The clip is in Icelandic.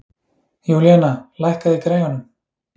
Júlíanna, lækkaðu í græjunum.